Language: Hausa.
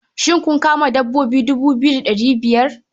Shin kun kama dabbobi dubu biyu da ɗari biyar?